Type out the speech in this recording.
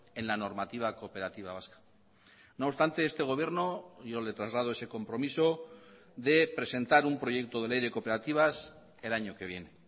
en la normativa cooperativa vasca no obstante este gobierno yo le traslado ese compromiso de presentar un proyecto de ley de cooperativas el año que viene